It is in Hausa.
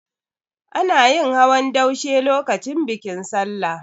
Ana yin hawan daushe lokacin bikin Sallah.